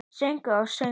Sögur og söngur.